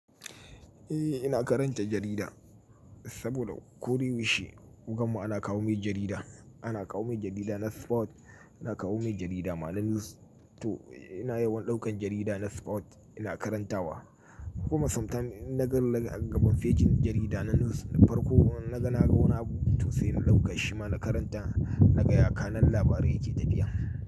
Eh, ina karanta jarida saboda ko da yaushe a wajen mu ana kawo mai jarida. Ana kawo mai jarida na sport, ana kawo mai jarida ma na news. To ina yawan ɗaukan jarida na sport ina karantawa. Kuma sometimes in na ga daga gabon fejin jarida na news na farko, na ga na ga wani abu to sai in ɗauka shima na karanta, na ga yaƙa na labarin yake tafiya.